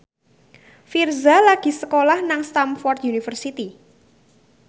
Virzha lagi sekolah nang Stamford University